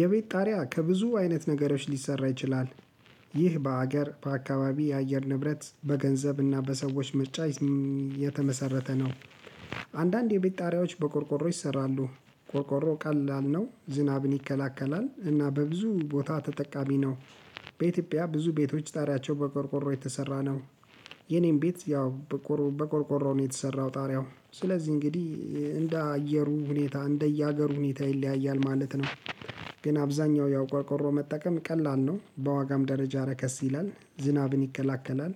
የቤት ጣሪያ ከብዙ አይነት ነገሮች ሊሰራ ይችላል ይህ በሀገር በአካባቢ የአየር ንብረት በገንዘብና በሰዎች ምርጫ የተመሰረተ ነው። አንዳንድ የቤት ጣሪያዎች በቆርቆሮ ይሰራሉ ቆርቆሮ ቀላል ነው ዝናብን ይከላከላል እና በብዙ ቦታ ተጠቃሚ ነው። በኢትዮጵያ ብዙ ቤቶች ጣሪያቸው በቆርቆሮ የተሰራ ነው። የኔም ቤት ያው በቆርቆሮ ነው የተሰራው ጣሪያው ስለዚህ እንግዲህ እንደ አየሩ ሁኔታ እንደየሀገሩ ሁኔታ ይለያያል ማለት ነው። ግን አብዛኛው ያው ቆርቆሮ መጠቀም ቀላል ነው በዋጋም ደረጃ ረከስ ይላል ዝናብን ይከላከላል።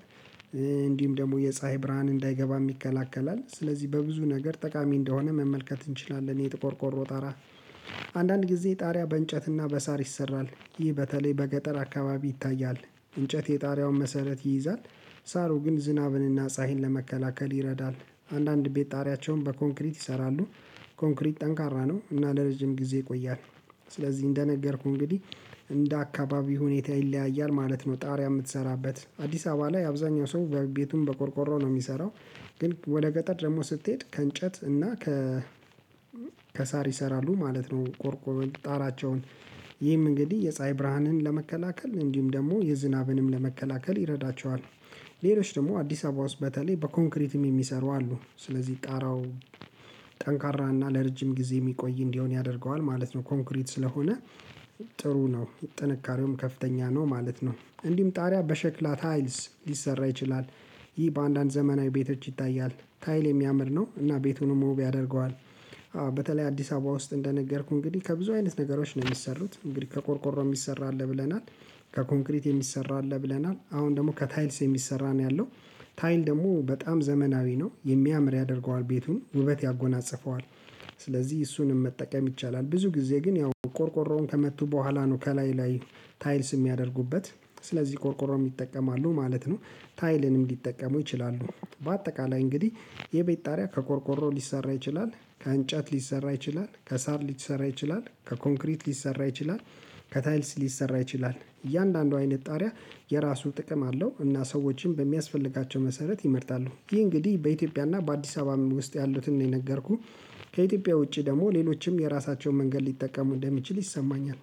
እንዲሁም ደግሞ የፀሀይ ብርሃን እንዳይገባም ይከላከላል ስለዚህ በብዙ ነገር ጠቃሚ እንደሆነ መመልከት እንችላለን የቆርቆሮ ጣራ። አንዳንድ ጊዜ ጣሪያ በእንጨትና በሳር ይሰራል ይህ በተለይ በገጠር አካባቢ ይታያል። እንጨት የጣሪያውን መሰረት ይይዛል። ሳሩ ግን ዝናብንና ፀሀይን ለመከላከል ይረዳል። አንዳንድ ቤት ጣሪያቸውን በኮንክሪት ይሰራሉ። ኮንክሪት ጠንካራ ነው እና ለረጅም ጊዜ ይቆያል። ስለዚህ እንደነገርኩህ እንግዲህ እንደ አካባቢው ሁኔታ ይለያያል ማለት ነው። ጣሪያ የምትሰራበት አዲስ አበባ ላይ አብዛኛው ሰው ቤቱን በቆርቆሮ ነው የሚሰራው። ግን ወደ ገጠር ደግሞ ስትሄድ ከእንጨት እና ከ ከሳር ይሰራሉ ማለት ነው። ቆርቆሮ ጣራቸውን ይህም እንግዲህ የፀሀይ ብርሃንን ለመከላከል እንዲሁም ደግሞ የዝናብንም ለመከላከል ይረዳቸዋል። ሌሎች ደግሞ አዲስ አበባ ውስጥ በተለይ በኮንክሪትም የሚሰሩ አሉ ስለዚህ ጣራው ጠንካራና ለረጅም ጊዜ የሚቆይ እንዲሆን ያደርገዋል ማለት ነው። ኮንክሪት ስለሆነ ጥሩ ነው ጥንካሬውም ከፍተኛ ነው ማለት ነው። እንዲሁም ጣሪያ በሸክላ ታይልስ ሊሰራ ይችላል። ይህ በአንዳንድ ዘመናዊ ቤቶች ይታያል ታይል የሚያምር ነው እና ቤቱንም ውብ ያደርገዋል። በተለይ አዲስ አበባ ውስጥ እንደነገርኩ እንግዲህ ከብዙ አይነት ነገሮች ነው የሚሰሩት እንግዲህ ከቆርቆሮ የሚሰራ አለ ብለናል። ከኮንክሪት የሚሰራ አለ ብለናል አሁን ደግሞ ከታይልስ የሚሰራ ነው ያለው። ታይል ደግሞ በጣም ዘመናዊ ነው የሚያምር ያደርገዋል ቤቱን ውበት ያጎናፅፈዋል። ስለዚህ እሱንም መጠቀም ይቻላል ብዙ ጊዜ ግን ያው ቆርቆሮውን ከመቱ በኋላ ነው ከላይ ላይ ታይልስ የሚያደርጉበት ስለዚህ ቆርቆሮም ይጠቀማሉ ማለት ነው። ታይልንም ሊጠቀሙ ይችላሉ በአጠቃላይ እንግዲህ የቤት ጣሪያ ከቆርቆሮ ሊሰራ ይችላል ከእንጨት ሊሰራ ይችላል ከሳር ሊሰራ ይችላል ከኮንክሪት ሊሰራ ይችላል። ከታይልስ ሊሰራ ይችላል እያንዳንዱ አይነት ጣሪያ የራሱ ጥቅም አለው እና ሰዎችን በሚያስፈልጋቸው መሰረት ይመርጣሉ። ይህ እንግዲህ በኢትዮጵያና በአዲስ አበባ ውስጥ ያሉትን ነው የነገርኩህ። ከኢትዮጵያ ውጪ ደግሞ ሌሎችም የራሳቸውን መንገድ ሊጠቀሙ እንደሚችል ይሰማኛል